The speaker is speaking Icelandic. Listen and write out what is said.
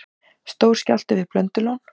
Stór skjálfti við Blöndulón